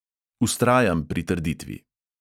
Vztrajam pri trditvi.